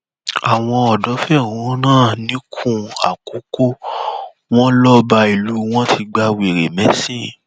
àwọn ọdọ fẹhónú hàn nìkún àkókò wọn lọba ìlú àwọn ti gba wèrè mẹsìn